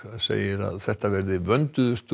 segir að þetta verði vönduðustu og